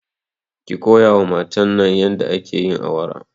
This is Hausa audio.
ki koyawa matan nan yadda ake yin awara